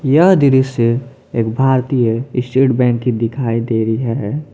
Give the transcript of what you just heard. यह दृश्य एक भारतीय स्टेट बैंक की दिखाई दे रही है।